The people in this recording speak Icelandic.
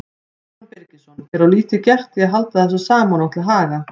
Símon Birgisson: Er of lítið gert í að halda þessu saman og til haga?